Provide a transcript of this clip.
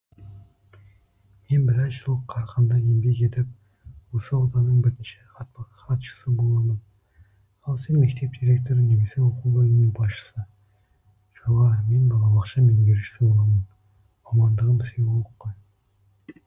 мен біраз жыл қарқынды еңбек етіп осы ауданның бірінші хатшысы боламын ал сен мектеп директоры немесе оқу бөлімінің басшысы жоға мен балабақша меңгерушісі боламын мамандығым психолог қой